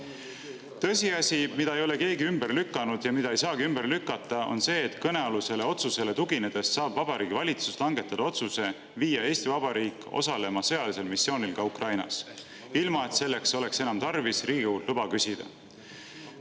Tõsiasi, mida keegi ei ole ümber lükanud ja mida ei saagi ümber lükata, on see, et kõnealusele otsusele tuginedes saab Vabariigi Valitsus langetada otsuse, et Eesti Vabariik osaleb ka sõjalisel missioonil Ukrainas, ilma et selleks oleks enam tarvis Riigikogult luba küsida.